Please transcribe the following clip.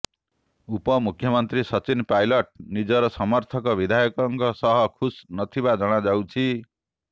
ଉପମୁଖ୍ୟମନ୍ତ୍ରୀ ସଚିନ ପାଇଲଟ୍ ନିଜର ସମର୍ଥକ ବିଧାୟକମାନଙ୍କ ସହ ଖୁସ୍ ନଥିବା କୁହାଯାଉଛି